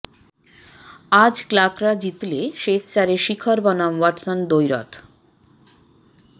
আজ ক্লার্করা জিতলে শেষ চারে শিখর বনাম ওয়াটসন দ্বৈরথ